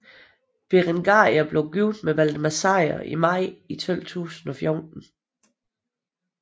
Berengaria blev gift med Valdemar Sejr i maj 1214